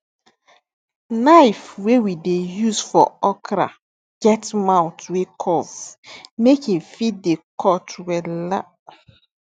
knife wey we dey use for okra get mouth wey curve make em fit dey cut wella